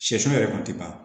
Sɛ yɛrɛ kɔni tɛ ban